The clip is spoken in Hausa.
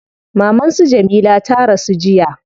Maman su Jamila ta rasu jiya